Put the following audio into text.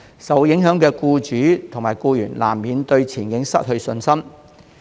受影響的僱主及僱員，難免對前景失去信心。